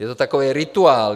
Je to takový rituál.